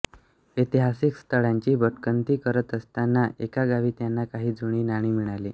ऐतिहासिक स्थळांची भटकंती करत असताना एका गावी त्यांना काही जुनी नाणी मिळाली